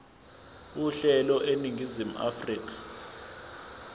uhlelo eningizimu afrika